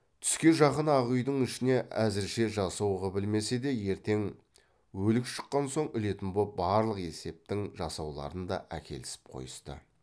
түске жақын ақ үйдің ішіне әзірше жасау қып ілмесе де ертең өлік шыққан соң ілетін боп барлық септің жасауларын да әкелісіп қойысты